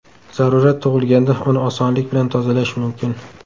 Zarurat tug‘ilganda uni osonlik bilan tozalash mumkin.